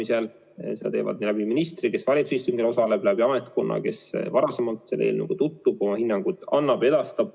Kes teeb seda ministri kaudu, kes osaleb valitsuse istungil, kes osaleb läbi ametkonna, kes tutvub varakult eelnõuga ja annab oma hinnangu.